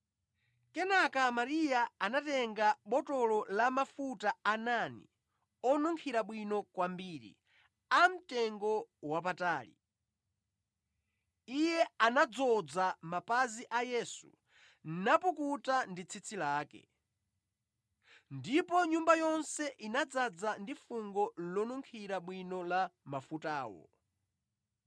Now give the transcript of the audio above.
Kenaka Mariya anatenga botolo la mafuta a nadi, onunkhira bwino kwambiri, amtengowapatali; Iye anadzoza mapazi a Yesu napukuta ndi tsitsi lake. Ndipo nyumba yonse inadzaza ndi fungo lonunkhira bwino la mafutawo.